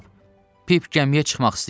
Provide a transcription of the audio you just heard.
Cənab, Pip gəmiyə çıxmaq istəyir.